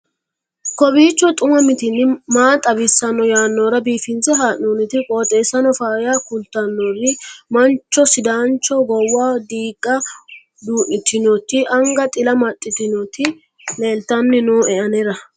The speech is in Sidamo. kowiicho xuma mtini maa xawissanno yaannohura biifinse haa'noonniti qooxeessano faayya kultannori mancho sidaancho goowaho diigga duu'nitinnoti anga xila amaddinoti leeltanni nooe anera